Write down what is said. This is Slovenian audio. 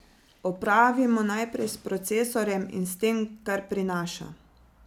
Opravimo najprej s procesorjem in tem, kar prinaša.